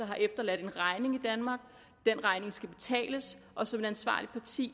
har efterladt en regning i danmark den regning skal betales og som et ansvarligt parti